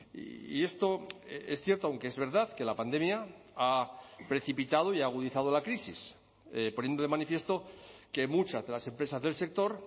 y esto es cierto aunque es verdad que la pandemia ha precipitado y ha agudizado la crisis poniendo de manifiesto que muchas de las empresas del sector